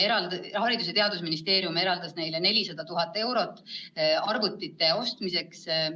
Haridus- ja Teadusministeerium eraldas neile 400 000 eurot arvutite ostmiseks.